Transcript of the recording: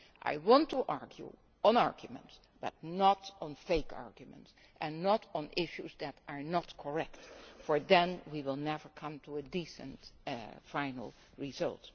I want to argue, but not on fake arguments, and not on issues that are not correct, for then we will never come to a decent, final result.